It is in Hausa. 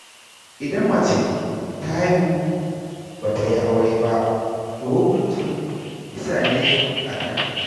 Idan mace ta haihu ba ta yi aure ba, to hukuncin kisa ne a kanta.